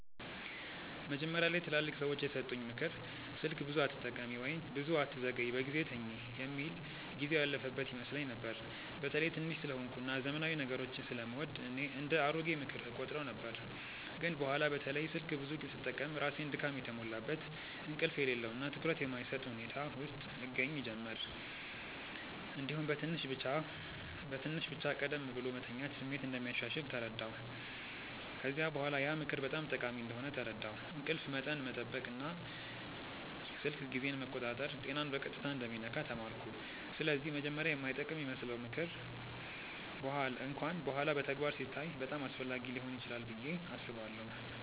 መጀመሪያ ላይ ትላልቅ ሰዎች የሰጡኝ “ምክር ስልክ ብዙ አትጠቀሚ” ወይም “ብዙ አትዘግይ በጊዜ ተኝ” የሚል ጊዜው ያለፈበት ይመስለኝ ነበር። በተለይ ትንሽ ስለሆንኩ እና ዘመናዊ ነገሮችን ስለምወድ እንደ “አሮጌ ምክር” እቆጥረው ነበር። ግን በኋላ በተለይ ስልክ ብዙ ስጠቀም ራሴን ድካም የተሞላበት፣ እንቅልፍ የሌለው እና ትኩረት የማይሰጥ ሁኔታ ውስጥ እገኛ ጀመርሁ። እንዲሁም በትንሽ ብቻ ቀደም ብሎ መተኛት ስሜት እንደሚያሻሽል ተረዳሁ። ከዚያ በኋላ ያ ምክር በጣም ጠቃሚ እንደሆነ ተረዳሁ፤ እንቅልፍ መጠን መጠበቅ እና ስልክ ጊዜን መቆጣጠር ጤናን በቀጥታ እንደሚነካ ተማርኩ። ስለዚህ መጀመሪያ የማይጠቅም ይመስለው ምክር እንኳን በኋላ በተግባር ሲታይ በጣም አስፈላጊ ሊሆን ይችላል ብዬ አስባለሁ።